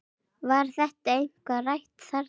Var þetta eitthvað rætt þarna?